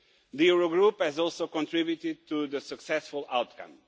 The Eurogroup has also contributed to the successful outcome.